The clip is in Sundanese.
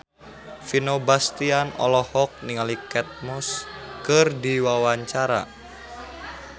Vino Bastian olohok ningali Kate Moss keur diwawancara